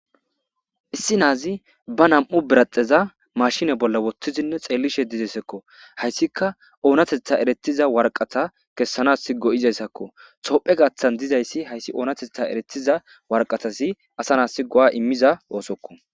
issi naazi ba nam7u biraxeza mashine bolla wottizinne xeelishe dizesekko hayssika oonatetha eretiza warqata kessanas go7izayssakko soophe gaththan dizayssi hayssi oonatetha eretiza warqatasi asa naassi go7a immiza oosokko